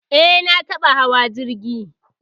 Eh, na taɓa hawa jirgi